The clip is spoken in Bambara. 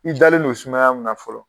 I dalen don sumaya mun na fɔlɔ